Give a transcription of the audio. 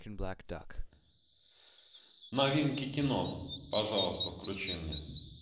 новинки кино пожалуйста включи мне